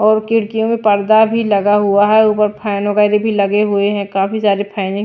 और खिड़कियों में पर्दा भी लगा हुआ है ऊपर फैन वगैर भी लगे हुए हैं काफी सारे फैन है।